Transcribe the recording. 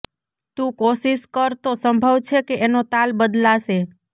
તું કોશિશ કર તો સંભવ છે કે એનો તાલ બદલાશે